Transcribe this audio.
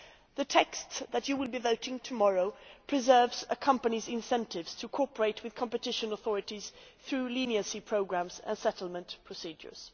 The text that you will be voting tomorrow preserves a company's incentives to cooperate with competition authorities through leniency programmes and settlement procedures.